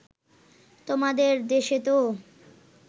তোমাদের দেশেতো